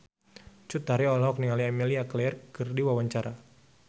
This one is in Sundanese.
Cut Tari olohok ningali Emilia Clarke keur diwawancara